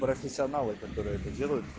профессионалы которые это делают